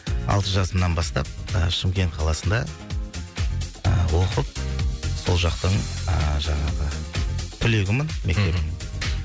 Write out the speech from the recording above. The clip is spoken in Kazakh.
алты жасымнан бастап ы шымкент қаласында ыыы оқып сол жақтың ыыы жаңағы түлегімін мхм мектептің